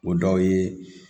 O dɔ ye